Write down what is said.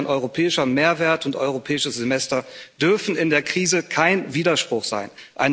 Europäischer Mehrwert und Europäisches Semester dürfen in der Krise kein Widerspruch sein.